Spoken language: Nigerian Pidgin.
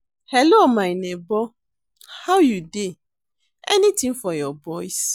Hello, my nebor how you dey? Anytin for your boys?